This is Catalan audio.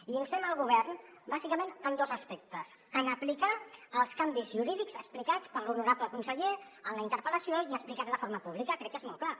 i instem el govern bàsicament en dos aspectes en aplicar els canvis ju·rídics explicats per l’honorable conseller en la interpel·lació i explicats de forma pú·blica crec que és molt clar